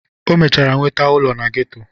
O mechazịrị nwete ụlọ na geto.